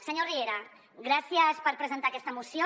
senyor riera gràcies per presentar aquesta moció